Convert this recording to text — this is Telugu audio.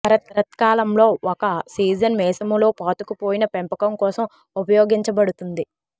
శరత్కాలంలో ఒక సీజన్ మీసము లో పాతుకుపోయిన పెంపకం కోసం ఉపయోగించబడుతుంది